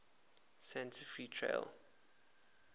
santa fe trail